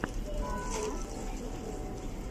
лайк настя в ютубе